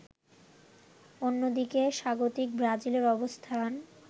অন্যদিকে স্বাগতিক ব্রাজিলের অবস্থান